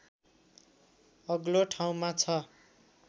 अग्लो ठाउँमा छ